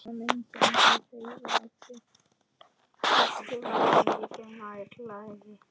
Systur væri miklu nær lagi.